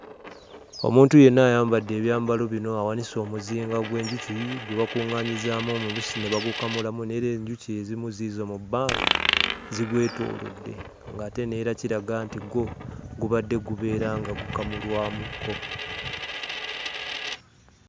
Omuntu yenna ayambadde ebyambalo bino awanise omuzinga gw'enjuki gwe bakuŋŋaanyizaamu omubisi ne bagukamulamu; n'era enjuki ezimu ziizo mu bbanga zigwetoolodde ng'ate n'era kiraga nti gwo gubadde gubeera nga gukamulwamukko.